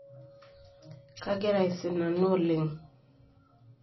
Kagira aisinanuo oleng